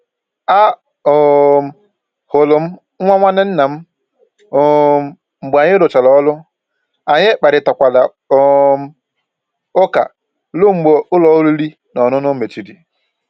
A um hụrụ m nwa nwanne nna m um mgbe anyị rụchara ọrụ, anyị kparịtakwara um ụka ruo mgbe ụlọ oriri na ọṅụṅụ mechiri